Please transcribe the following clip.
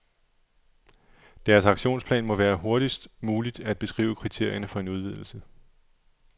Deres aktionsplan må være hurtigst muligt at beskrive kriterierne for en udvidelse.